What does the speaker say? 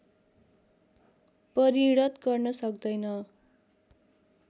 परिणत गर्न सक्दैन